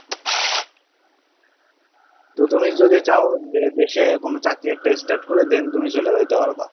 তো তুমি যদি চাও যে দেশে কোনো চাকরি একটা start করে then তুমি চলে যেতে পারবা।